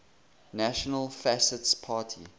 national fascist party